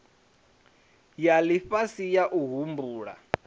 ya lifhasi ya u humbula